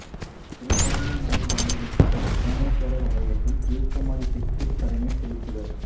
திருகோணமலை வாழ் மக்கள் கோணேஸ்வரர் ஆலயத்தில் தீர்த்தமாடி பிதுர் கடனைச் செலுத்துவர்